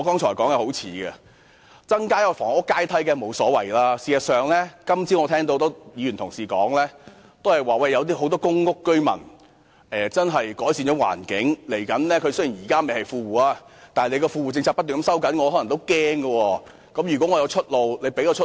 增設房屋階梯當然沒問題，而我今早亦聽到多位議員表示有很多公屋居民確實改善了狀況，雖然現在不是富戶，但由於政府不斷收緊富戶政策，他們亦可能感到擔心。